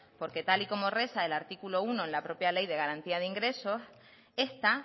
porque tal y como reza el artículo uno en la propia ley de garantía de ingresos esta